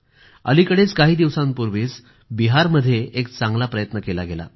अलिकडेच काही दिवसांपूर्वीच बिहारमध्ये एक चांगला प्रयत्न केला गेला